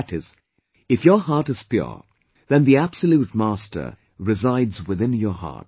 That is, if your heart is pure, then the Absolute master resides within your heart